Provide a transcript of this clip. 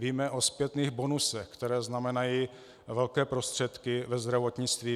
Víme o zpětných bonusech, které znamenají velké prostředky ve zdravotnictví.